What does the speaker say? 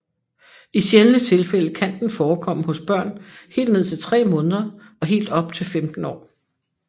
I sjældne tilfælde kan den forekomme hos børn helt ned til 3 måneder og helt op til 15 år